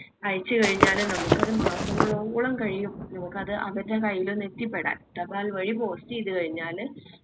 അയച്ച് കഴിഞ്ഞാല് നമ്മക്ക് അത് മാസങ്ങളോളം കഴിയും നമ്മുക്കത് അവരുടെ കയ്യിലൊന്ന് എത്തിപ്പെടാൻ തപാൽ വഴി post ചെയ്ത കഴിഞാല്